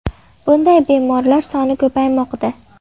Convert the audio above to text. Bunday bemorlar soni ko‘paymoqda.